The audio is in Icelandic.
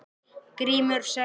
Grímur sagði